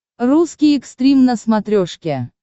русский экстрим на смотрешке